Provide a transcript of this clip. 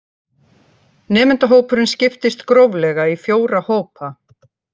Nemendahópurinn skiptist gróflega í fjóra hópa